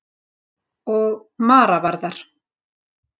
Og Mara var það.